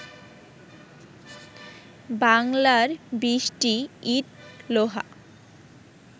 বাংলার বৃষ্টি ইট, লোহা